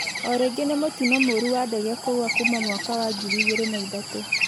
Orĩngĩ nĩ mũtĩno mũũrũ wa ndege kũgwa kũma mwaka wa ngĩrĩ ĩgĩrĩ na ĩthatũ